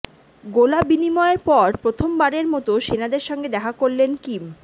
গোলা বিনিময়ের পর প্রথমবারের মতো সেনাদের সঙ্গে দেখা করলেন কিম